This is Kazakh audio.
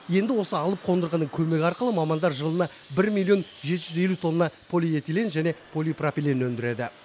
енді осы алып қондырғының көмегі арқылы мамандар жылына бір миллион жеті жүз елу тонна полиэтилен және полипропилен өндіреді